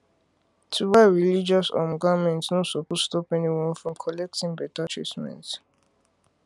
to wear religious um garment no supose stop anyone from collecting better treatment